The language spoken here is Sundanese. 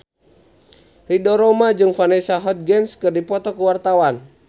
Ridho Roma jeung Vanessa Hudgens keur dipoto ku wartawan